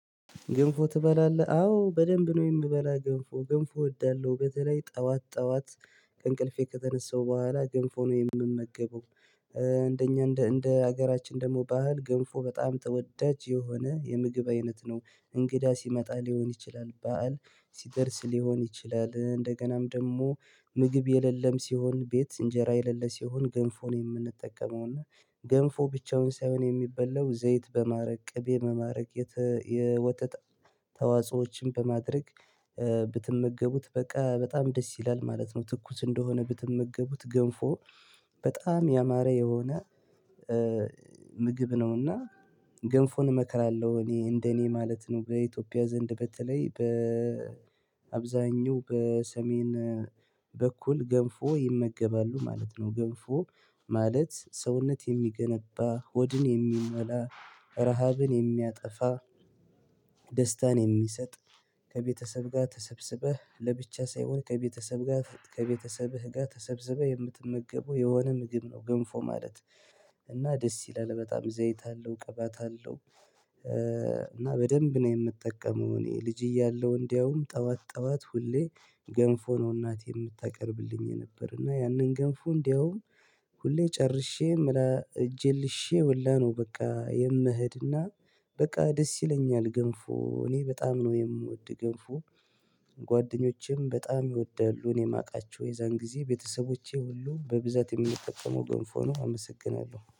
ግንፎ ትበላለህ አዎ በደንብ ነው የምበላ ግንፎ ግንፎ እወዳለሁ በተለይ ጠዋት ጠዋት ከእንቅልፌ ከተነሳው በኋላ ግንፎ ነው የምመገበው። እንደኛ እንደ እንደ ሀገራችን ደግሞ ባህል ግንፎ በጣም ተወዳጅ የሆነ የምግብ አይነት ነው። እንግዳ ሲመጣ ሊሆን ይችላል በዓል ሲደርስ ሊሆን ይችላል እንደገናም ደግሞ ምግብ የሌለም ሲሆን ቤት እንጀራ የሌለ ሲሆን ገንፎ ነው የምንጠቀመው። እና ገንፎ ብቻውን ሳይሆን የሚበላው ዘይት በማረቅ ቅቤ መማረቅ የወጥጥ ተዋጾዎችን በማድረግ። ብትመገቡት በቃ በጣም ደስ ይላል ማለት ነው። ትኩስ እንደሆነ ብትመገቡት ገንፎ በጣም ያማረ የሆነ ምግብ ነውና። ገንፎን እመክራለሁ እኔ እንደኔ ማለት ነው። በኢትዮጵያ ዘንድ በተለይ በአብዛኛው በሰሜን በኩል ገንፎ ይመገባሉ ማለት ነው። ገንፎ ማለት ሰውነት የሚገነባ ሆድን የሚመላ ረሃብን የሚያጠፋ ደስታን የሚሰጥ። ከቤተሰብ ጋር ተሰብስበህ ለብቻ ሳይሆን ከቤተሰብ ጋር ከቤተሰብህ ጋር ተሰብስበህ የምትመገበው የሆነ ምግብ ነው ግንፎ ማለት። እና ደስ ይላል በጣም እዚህ አይታ አለው ቀባታ አለው። እና በደንብ ነው የምጠቀመው እኔ ልጅ እያለሁ እንደውም ጠዋት ጠዋት ሁሌ ገንፎ ነው እናት የምታቀርብልኝ ነበር። እና ያንን ገንፎ እንደውም ሁሌ ጨርሼ እጄን ልሼ ወላ ነው በቃ የምሄድና። በቃ ደስ ይለኛል ገንፎ እኔ በጣም ነው የምወድ ገምፎ። ጓደኞቼም በጣም ይወድዳሉ እኔ የማውቃቸው የዛን ጊዜ ቤተሰቦቼ ሁሉ በብዛት የሚጠቀመው ገንፍ ሆኖ አመሰግናለሁ